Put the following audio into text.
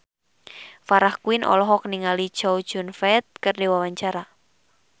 Farah Quinn olohok ningali Chow Yun Fat keur diwawancara